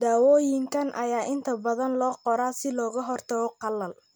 Daawooyinka ayaa inta badan loo qoraa si looga hortago qalal.